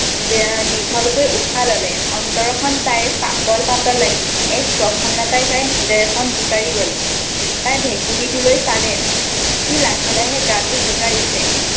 দীঘলকৈ উশাহ ললে, অন্তৰখন তাইৰ পাতল-পাতল লাগিলে, এক প্ৰসন্নতাই তাইৰ হৃদয়খন জোকাৰি গ'ল। তাই ভেকুলীটোলৈ চালে, সি লাহে লাহে গাটো জোকাৰিছে।